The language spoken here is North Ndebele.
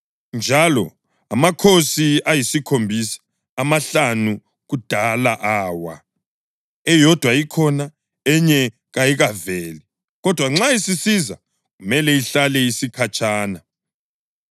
Njalo angamakhosi ayisikhombisa. Amahlanu kudala awa, eyodwa ikhona, enye kayikaveli, kodwa nxa isisiza kumele ihlale isikhatshana.